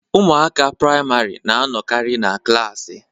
Ụmụaka priamarị na anọkari na klaasị.